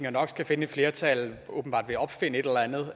og nok skal finde et flertal åbenbart ved at opfinde et eller andet har